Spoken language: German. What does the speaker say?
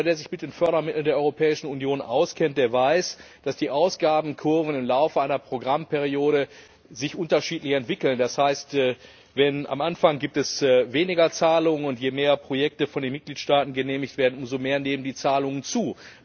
Jeder, der sich mit den Fördermitteln der Europäischen Union auskennt, weiß, dass sich die Ausgabenkurven im Laufe einer Programmperiode unterschiedlich entwickeln. Das heißt, am Anfang gibt es weniger Zahlungen, und je mehr Projekte von den Mitgliedstaaten genehmigt werden, umso mehr nehmen die Zahlungen zu.